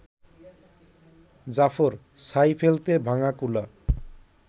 জাফর, ছাই ফেলতে ভাঙা কুলা